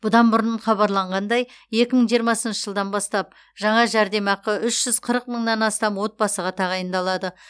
бұдан бұрын хабарланғандай екі мың жиырмасыншы жылдан бастап жаңа жәрдемақы үш жүз қырық мыңнан астам отбасыға тағайындалады